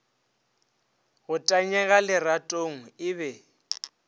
go tanyega leratong e be